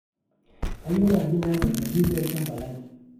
kayieu naaji naya tittle deed olchamba lai